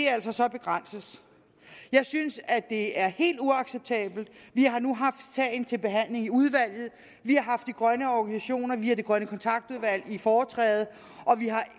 altså begrænses jeg synes det er helt uacceptabelt vi har nu haft sagen til behandling i udvalget vi har haft de grønne organisationer via det grønne kontaktudvalg i foretræde og vi har